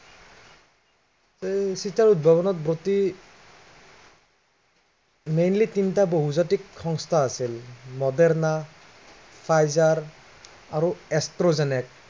এই চিটাৰ উদ্ভৱনাৰ ব্ৰতী mainly তিনিটা বহুজাতিক সংস্থা আছিল মডেৰনা, ফাইজাৰ আৰু এস্ট্ৰজনেক